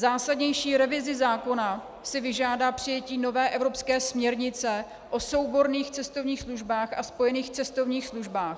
Zásadnější revizi zákona si vyžádá přijetí nové evropské směrnice o souborných cestovních službách a spojených cestovních službách.